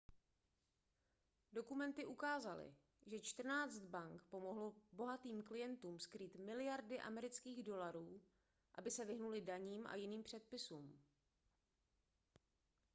dokumenty ukázaly že čtrnáct bank pomohlo bohatým klientům skrýt miliardy amerických dolarů aby se vyhnuli daním a jiným předpisům